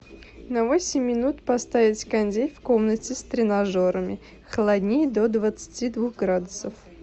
на восемь минут поставить кондей в комнате с тренажерами холоднее до двадцати двух градусов